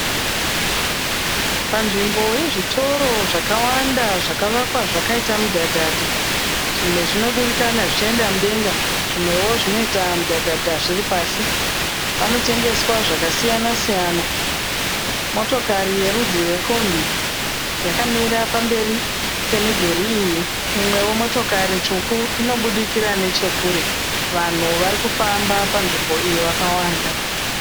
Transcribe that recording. Panzvimbo yezvitoro zvakawanda zvakavakwa zvakaita mudhadhadha. Zvimwe zvinodurikana zvichienda mudenga zvimwewo zvinota mudhadhadha zviri pasi. Panotengeswa zvakasiyana siyana. Motokari yerudzi rwekombi yakamira pamberi pemidhuri iyi. Imwewo motikari tsvuku iri kubudikira nechekure. Vanhu vari kufamba panzvimbo iyi vakawanda.